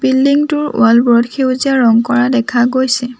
Building টোৰ wall বোৰত সেউজীয়া ৰং কৰা দেখা গৈছে।